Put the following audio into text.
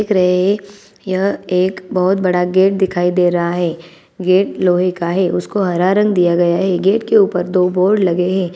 --दिख रहे है यह बहोत बड़ा गेट दिखाई दे रहा है गेट लोहे का है उसको हरा रंग दिया गया है गेट के ऊपर दो बोर्ड लगे है।